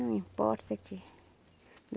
Não importa aqui.